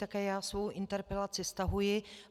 Také já svou interpelaci stahuji.